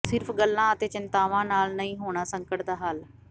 ਸਿਰਫ਼ ਗੱਲਾਂ ਅਤੇ ਚਿੰਤਾਵਾਂ ਨਾਲ ਨਹੀਂ ਹੋਣਾ ਸੰਕਟ ਦਾ ਹੱਲ